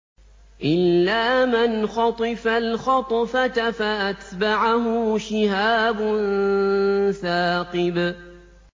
إِلَّا مَنْ خَطِفَ الْخَطْفَةَ فَأَتْبَعَهُ شِهَابٌ ثَاقِبٌ